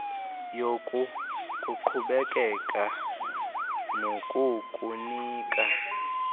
yoku kukuqhubekeka nokukunika